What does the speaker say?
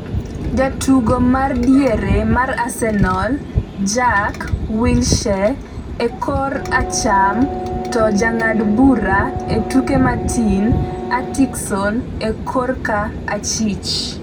Jatugo ma diere mar Arsenal Jack Wilshere e korka acham to jang'ad bura e tukego Martin Atkinson e korka achich